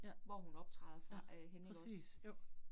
Ja, ja, præcis, jo